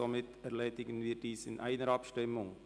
Somit benötigen wir nur eine Abstimmung.